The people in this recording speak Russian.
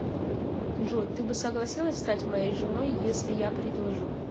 джой ты бы согласилась стать моей женой если я предложу